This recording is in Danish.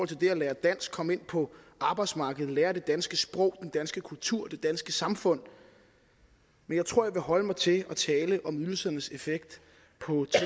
til det at lære dansk komme ind på arbejdsmarkedet lære om det danske sprog og danske kultur og det danske samfund men jeg tror jeg vil holde mig til at tale om ydelsernes effekt på